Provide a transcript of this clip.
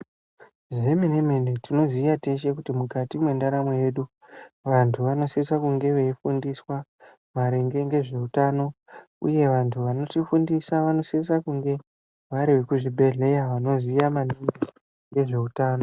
Zvemene mene tinoziya teshe kuti mukati mwrndaramo yedu vantu vanosisa kunge veifundiswa maringe ngezveutano uye vantu vanotifundisa vanosise kunge vari vekuzvibhedhleya vanoziya maningi ngezveutano.